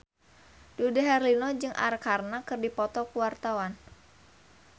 Dude Herlino jeung Arkarna keur dipoto ku wartawan